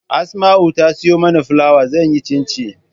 Asma'u ta siyo mana filawa zan yi cincin